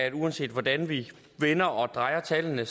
at uanset hvordan vi vender og drejer tallene